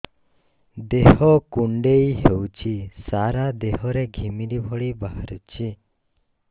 ଦେହ କୁଣ୍ଡେଇ ହେଉଛି ସାରା ଦେହ ରେ ଘିମିରି ଭଳି ବାହାରୁଛି